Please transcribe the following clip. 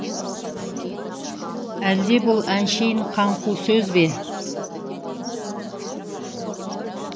әлде бұл әншейін қаңқу сөз бе